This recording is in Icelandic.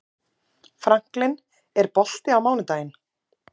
Franklin, er bolti á mánudaginn?